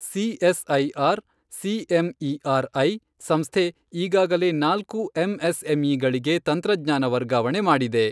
CSIR CMER I ಸಂಸ್ಥೆ ಈಗಾಗಲೇ ನಾಲ್ಕು ಎಂಎಸ್ಎಂಇ ಗಳಿಗೆ ತಂತ್ರಜ್ಞಾನ ವರ್ಗಾವಣೆ ಮಾಡಿದೆ.